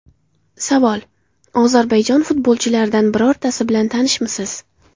Savol: Ozarbayjon futbolchilaridan birortasi bilan tanishmisiz?